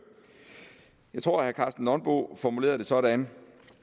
tror jeg herre karsten nonbo formulerede det sådan